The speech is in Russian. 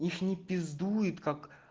их не пиздует как